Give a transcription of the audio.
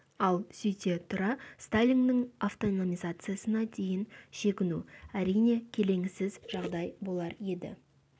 ал сөйте тұра сталиннің автономизациясына дейін шегіну әрине келеңсіз жағдай болар еді